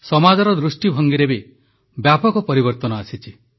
ସମାଜର ଦୃଷ୍ଟିଭଙ୍ଗୀରେ ବି ବ୍ୟାପକ ପରିବର୍ତ୍ତନ ଆସିଛି